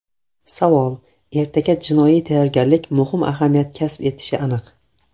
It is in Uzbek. Savol: Ertaga jismoniy tayyorgarlik muhim ahamiyat kasb etishi aniq.